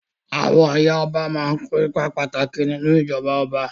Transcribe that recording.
Àwọn ìyá ọba máa kó ipa pàtàkì nínú ìjọba ọba.